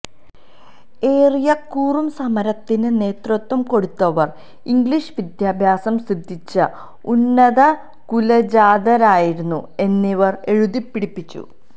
ഏറിയകൂറും സമരത്തിന് നേതൃത്വം കൊടുത്തവര് ഇംഗ്ലീഷ് വിദ്യാഭ്യാസം സിദ്ധിച്ച ഉന്നതകുലജാതരായിരുന്നു എന്നവര് എഴുതിപിടിപ്പിച്ചു